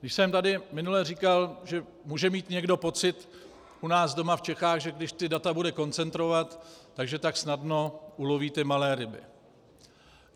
Když jsem tady minule říkal, že může mít někdo pocit u nás doma v Čechách, že když ta data bude koncentrovat, tak že tak snadno uloví ty malé ryby.